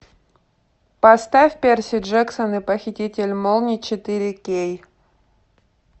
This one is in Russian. поставь перси джексон и похититель молний четыре кей